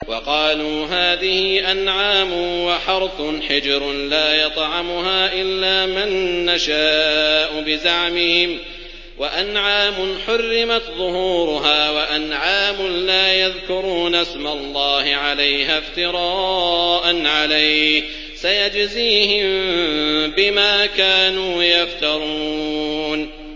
وَقَالُوا هَٰذِهِ أَنْعَامٌ وَحَرْثٌ حِجْرٌ لَّا يَطْعَمُهَا إِلَّا مَن نَّشَاءُ بِزَعْمِهِمْ وَأَنْعَامٌ حُرِّمَتْ ظُهُورُهَا وَأَنْعَامٌ لَّا يَذْكُرُونَ اسْمَ اللَّهِ عَلَيْهَا افْتِرَاءً عَلَيْهِ ۚ سَيَجْزِيهِم بِمَا كَانُوا يَفْتَرُونَ